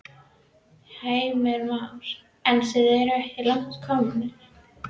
Heimir Már: En eru þið ekki langt komin?